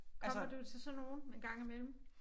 Kommer du til sådan nogle en gang imellem?